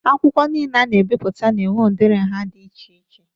Akwụkwọ nile a na-ebipụta na-enwe udiri nhá dị iche iche.